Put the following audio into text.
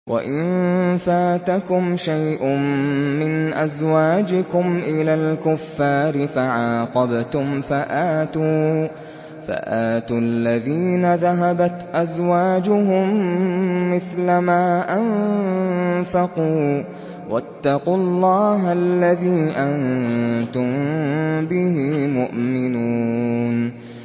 وَإِن فَاتَكُمْ شَيْءٌ مِّنْ أَزْوَاجِكُمْ إِلَى الْكُفَّارِ فَعَاقَبْتُمْ فَآتُوا الَّذِينَ ذَهَبَتْ أَزْوَاجُهُم مِّثْلَ مَا أَنفَقُوا ۚ وَاتَّقُوا اللَّهَ الَّذِي أَنتُم بِهِ مُؤْمِنُونَ